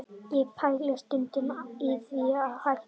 Ég pæli stundum í því að hætta